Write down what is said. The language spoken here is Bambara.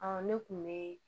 ne kun be